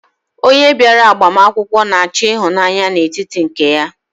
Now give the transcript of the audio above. Onye bịara agbamakwụkwọ na-achọ ịhụnanya n'etiti nke ya.